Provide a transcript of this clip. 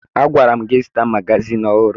Agwara m gị zụta magazin ọhụrụ